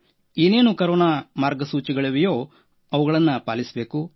ಏನೇನು ಕೊರೋನಾ ಮಾರ್ಗಸೂಚಿಗಳಿವೆಯೋ ಅವುಗಳನ್ನು ಪಾಲಿಸಬೇಕು